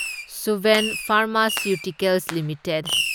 Suven pharmaceuticals limited